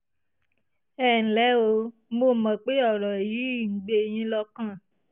ẹ ǹlẹ́ o mo mọ̀ pé ọ̀rọ̀ yìí ń gbé yín lọ́kàn